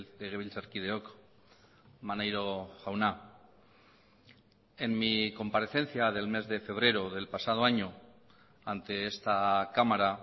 legebiltzarkideok maneiro jauna en mi comparecencia del mes de febrero del pasado año ante esta cámara